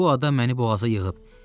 Bu adam məni boğaza yığıb.